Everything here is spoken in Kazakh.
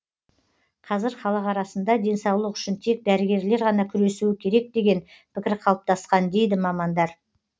қазір халық арасында денсаулық үшін тек дәрігерлер ғана күресуі керек деген пікір қалыптасқан дейді мамандар